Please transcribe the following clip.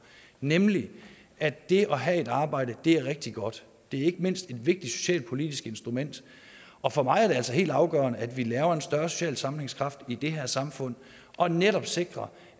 nemlig at det at have et arbejde er rigtig godt det er ikke mindst et vigtigt socialpolitisk instrument og for mig er det altså helt afgørende at vi laver en større social sammenhængskraft i det her samfund og netop sikrer